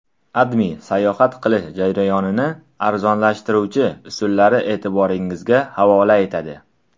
AdMe sayohat qilish jarayonini arzonlashtiruvchi usullarni e’tiboringizga havola etadi .